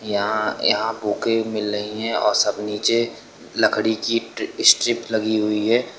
यहां यहां बुके मिल रही हैं और सब नीचे लकड़ी की स्ट्रिप लगी हुई है।